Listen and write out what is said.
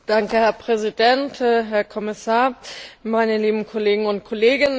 Herr Präsident, Herr Kommissar, meine lieben Kolleginnen und Kollegen!